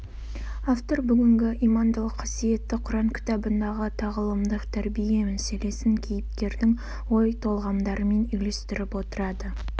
автор бүгінгі имандылық қасиетті құран кітабындағы тағылымдық тәрбие мәселесін кейіпкердің ой толғамдарымен үйлестіріп отырады